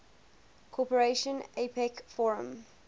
cooperation apec forum